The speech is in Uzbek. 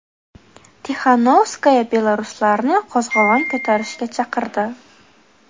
Tixanovskaya belaruslarni qo‘zg‘olon ko‘tarishga chaqirdi.